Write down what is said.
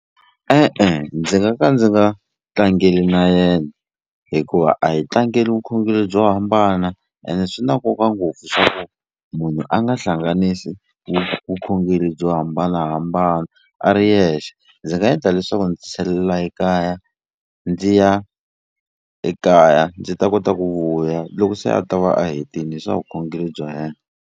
E-e ndzi nga ka ndzi nga tlangeli na yena hikuva a hi tlangela vukhongeri byo hambana ene swi na nkoka ngopfu swa ku munhu a nga hlanganisi vukhongeri byo hambanahambana a ri yexe. Ndzi nga endla leswaku ndzi tisalela ekaya ndzi ya ekaya ndzi ta kota ku vuya loko se a ta va a hetile swa vukhongeri bya yena.